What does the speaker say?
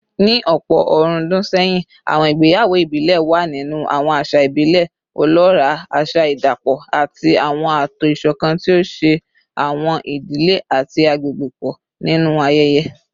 Ní ọ̀pọ̀ ọ̀rúndún sẹ́yìn, àwọn ìgbéyàwó ìbílẹ̀ wà nínú àwọn àṣà ìbílẹ̀ ọlọ́ràá, àṣà ìdapọ̀ àti àwọn ààtò ìṣọ̀kan tí ó so àwọn ìdílé àti àgbègbè pọ̀ nínú ayẹyẹ